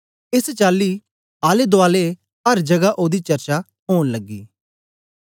एस चाली आले दूआले अर जगह ओदी चर्चा ओन लगी